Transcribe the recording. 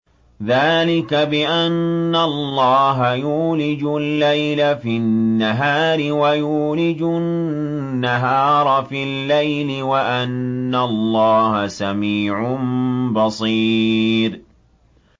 ذَٰلِكَ بِأَنَّ اللَّهَ يُولِجُ اللَّيْلَ فِي النَّهَارِ وَيُولِجُ النَّهَارَ فِي اللَّيْلِ وَأَنَّ اللَّهَ سَمِيعٌ بَصِيرٌ